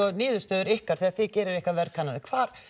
niðurstöður ykkar þegar þið gerið ykkar verðkannanir hvar